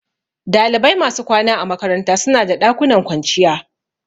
Dalibai masu kwana a makaranta suna da ɗakunan kwanciya